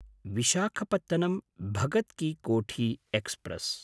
विशाखपत्नं–भगत् कि कोठी एक्स्प्रेस्